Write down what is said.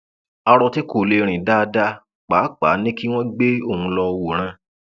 aro tí kò lè rìn dáadáa pàápàá ni kí wọn gbé òun lọọ wòran